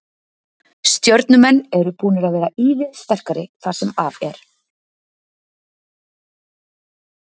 Stjörnumenn eru búnir að vera ívið sterkari það sem af er.